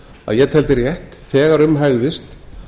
að ég teldi rétt þegar um hægðist